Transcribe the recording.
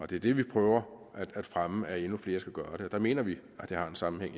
det er det vi prøver at fremme at endnu flere skal gøre og der mener vi at der er en sammenhæng